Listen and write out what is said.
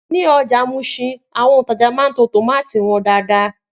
Ni ọjà Muṣin, àwọn òntajà máa ń to tómátì wọn dáadáa